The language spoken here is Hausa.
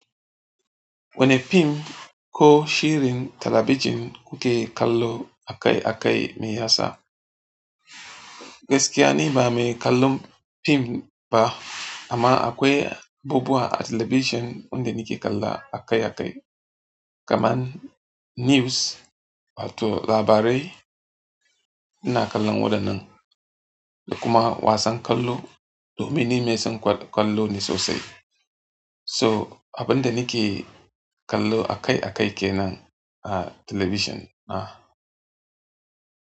Wane film ko shirin talabijin kuke kallo akai-akai mai yasa? Gaskiya ni bah me kallon film ba, amma akwai abubuwa a television wan da ni ke kalla akai akai. Kaman news wato labarai ina kallon waɗannan da kuma wasan kwallo domin ni mai son kwallo ne sosai. So abin da nake kallo akai-akai ke nan a talabijin na.